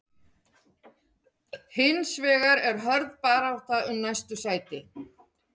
Hins vegar er hörð barátta um næstu sæti.